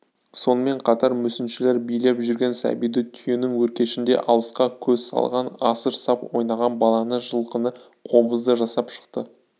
сонымен қатар мүсіншілер билеп жүрген сәбиді түйенің өркешінде алысқа көз салған асыр сап ойнаған баланы жылқыны қобызды жасап шықты